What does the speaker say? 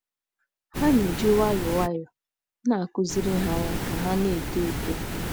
Ha na - eji nwayọọ nwayọọ na - akụziri ha ya ka ha na - eto. eto.